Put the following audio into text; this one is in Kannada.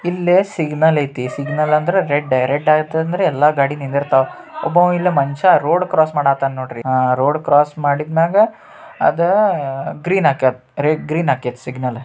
ಇಲ್ಲೇ ಸಿಗ್ನಲ್ ಐತಿ. ಸಿಗ್ನಲ್ ಅಂದ್ರೆ ರೆಡ್ ರೆಡ್ ಆತ್ ಅಂದ್ರ ಯಲ್ಲಾ ಗಾಡಿ ನಿಂದಿರ್ತಾವ. ಒಬ್ಬಂವಾ ಇಲ್ ಮನಷ್ಯ ರೋಡ್ ಕ್ರಾಸ್ ಮಾಡಾತಾನ್ ನೋಡ್ರಿ. ಅಹ್ ರೋಡ್ ಕ್ರಾಸ್ ಮಾಡಿದಮ್ಯಾಗ ಅದ ಗ್ರೀನ್ ಆಕೈ ಗ್ರೀನ್ ಅಕ್ಕೆತ್ ಸಿಗ್ನಲ್ .